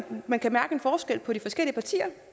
man kan mærke en forskel på de forskellige partier